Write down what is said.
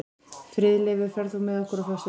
Friðleifur, ferð þú með okkur á föstudaginn?